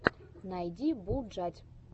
найди булджать